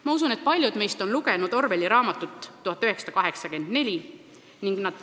Ma usun, et paljud meist on lugenud Orwelli raamatut "1984".